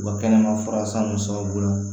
U ka kɛnɛma fura san nunnu sababu la